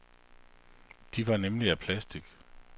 De var nemlig af plastic.